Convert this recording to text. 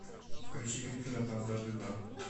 включи гриффинов на дважды два